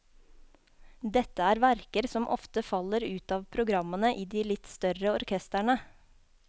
Dette er verker som ofte faller ut av programmene i de litt større orkestrene.